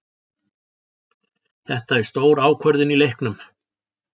Þetta er stór ákvörðun í leiknum.